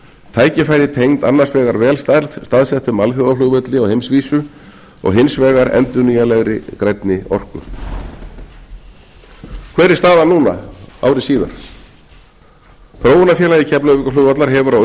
tækifæri tengd annars vegar vel staðsettum alþjóðaflugvelli á heimsvísu og hins vegar endurnýjanlegri grænni orku hver er staðan núna ári síðar þróunarfélagi keflavíkurflugvallar hefur á